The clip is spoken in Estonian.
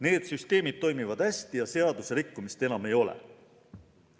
Need süsteemid toimivad hästi ja seaduserikkumist enam ei ole.